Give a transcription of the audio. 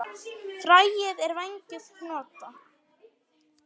Fræið er vængjuð hnota.